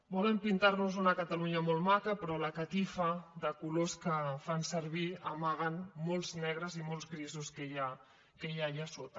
volen pintar nos una catalunya molt maca però la catifa de colors que fan servir amaga molts negres i molts grisos que hi ha allà sota